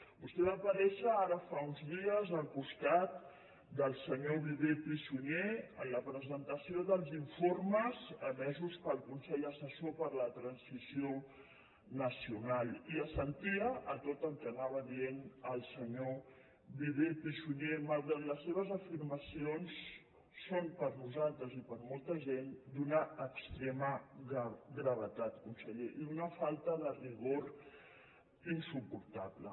vostè va aparèixer ara fa uns dies al costat del senyor viver i pi sunyer en la presentació dels informes emesos pel consell assessor per a la transició nacional i assentia a tot el que anava dient el senyor viver i pi sunyer malgrat que les seves afirmacions són per nosaltres i per molta gent d’una extrema gravetat conseller i d’una falta de rigor insuportable